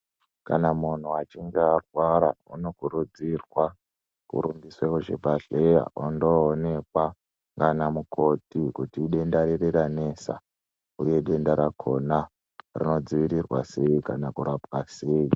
Kana muntu achinge arwara unokurudzirwa kurumbiswa kuchibhedhlera undoonekwa nana mukoti kuti idenda riri ranesa uye denda rakona rinodziirirwa sei kana kurapwa sei.